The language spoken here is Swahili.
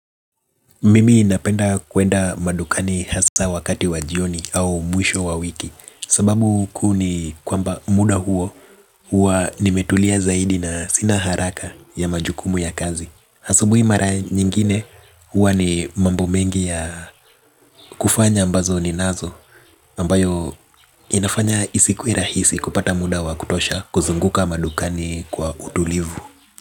Mimi inapenda kuenda madukani hasa wakati wa jioni au mwisho wa wiki. Sababu kuu ni kwamba muda huo huwa nimetulia zaidi na sina haraka ya majukumu ya kazi. Hasabu imara nyingine hua ni mambo mengi ya kufanya ambazo ninazo mbayo inafanya isiku irahisi kupata muda wa kutosha kuzunguka madukani kwa utulivu.